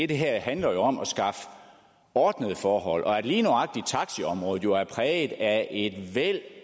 det her handler om at skaffe ordnede forhold og at lige nøjagtig taxiområdet er præget af et væld